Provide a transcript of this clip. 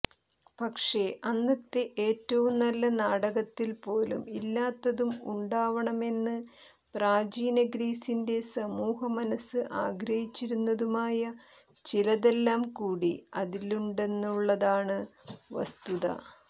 പക്ഷെ അന്നത്തെ ഏറ്റവും നല്ല നാടകത്തിൽ പോലും ഇല്ലാത്തതും ഉണ്ടാവണമെന്ന് പ്രാചീനഗ്രീസിന്റെ സമൂഹമനസ്സ് ആഗ്രഹിച്ചിരുന്നതുമായ ചിലതെല്ലാം കൂടി അതിലുണ്ടെന്നുള്ളതാണ് വസ്തുത